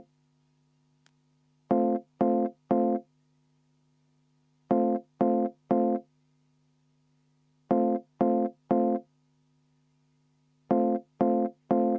Head ametikaaslased!